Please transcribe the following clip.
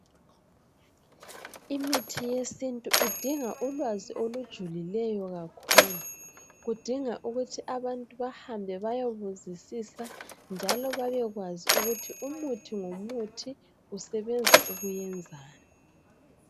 Imithi yesintu idinga ulwazi olujulileyo kakhulu. Kudinga ukuthi abantu bahambe bayebuzisisa njalo babekwazi ukuthi umuthi ngomuthi usebenza ukuyenzani.